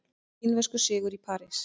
Kínverskur sigur í París